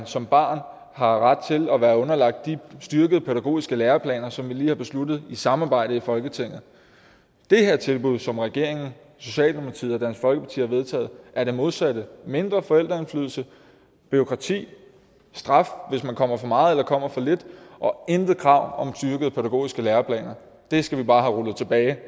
som barn har ret til at være underlagt de styrkede pædagogiske læreplaner som vi lige har besluttet i samarbejde i folketinget det her tilbud som regeringen socialdemokratiet og dansk folkeparti vil vedtage er det modsatte mindre forældreindflydelse bureaukrati og straf hvis man kommer for meget eller kommer for lidt og intet krav om styrkede pædagogiske læreplaner det skal vi bare have rullet tilbage